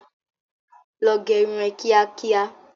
Lọ gẹrun ẹ kíá kíá!